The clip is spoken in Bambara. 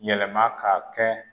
Yɛlɛma k'a kɛ